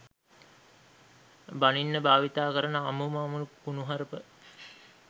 බනින්න භාවිතා කරන අමුම අමු කුණුහරුප.